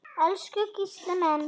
Elsku Gísli minn.